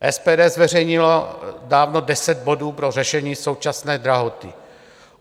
SPD zveřejnila dávno deset bodů pro řešení současné drahoty.